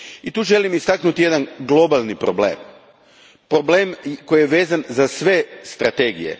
I tu želim istaknuti jedan globalni problem, problem koji je vezan za sve strategije.